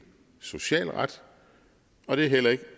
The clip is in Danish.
social ret og det er heller ikke